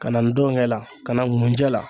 Ka na ndɔnkɛ la, ka na nkunjɛ la.